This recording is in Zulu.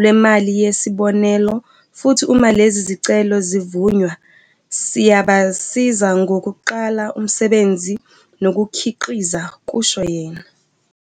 lwemali yesi bonelelo futhi uma lezi zicelo zivunywa, siyabasiza ngokuqala umsebenzi nokukhiqiza," kusho yena.